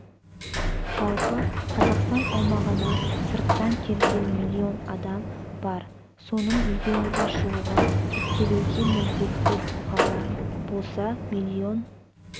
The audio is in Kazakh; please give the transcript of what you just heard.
жалпы қазақстан аумағына сырттан келген млн адам бар соның млн-ға жуығы тіркелуге міндетті тұлғалар болса млн